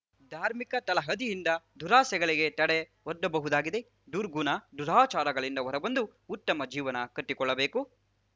ಧಾರ್ಮಿಕ ತಳಹದಿಯಿಂದ ದುರಾಸೆಗಳಿಗೆ ತಡೆ ಒಡ್ಡಬಹುದಾಗಿದೆ ದುರ್ಗುಣ ದುರಾಚಾರಗಳಿಂದ ಹೊರಬಂದು ಉತ್ತಮ ಜೀವನ ಕಟ್ಟಿಕೊಳ್ಳಬೇಕು